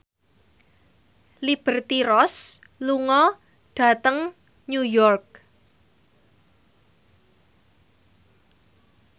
Liberty Ross lunga dhateng New York